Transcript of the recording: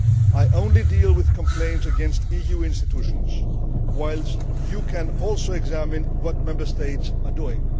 I only deal with complaints against EU institutions, whilst you can also examine what Member States are doing.